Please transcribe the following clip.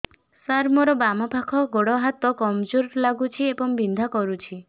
ସାର ମୋର ବାମ ପାଖ ଗୋଡ ହାତ କମଜୁର ଲାଗୁଛି ଏବଂ ବିନ୍ଧା କରୁଛି